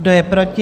Kdo je proti?